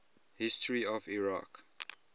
history of iraq